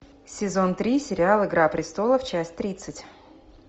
сезон три сериал игра престолов часть тридцать